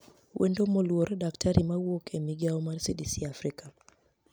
Wenido moluor Dkt mawuoke e migao mar CDCafrika